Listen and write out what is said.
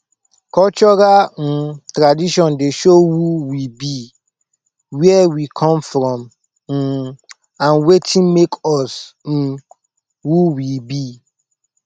cultural um tradition dey show who we be where we come from um and wetin make us um who we be